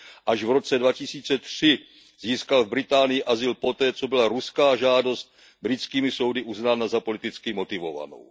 Až v roce 2003 získal v Británii azyl poté, co byla ruská žádost britskými soudy uznána za politicky motivovanou.